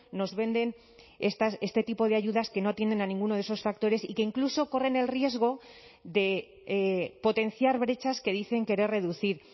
nos venden este tipo de ayudas que no tienen a ninguno de esos factores y que incluso corren el riesgo de potenciar brechas que dicen querer reducir